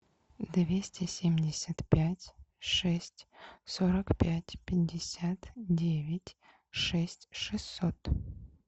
двести семьдесят пять шесть сорок пять пятьдесят девять шесть шестьсот